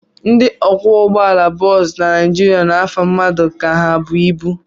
Ndị ọkwọụgbọala bọs na Naijiria na-afa mmadụ ka ha bụ ibu.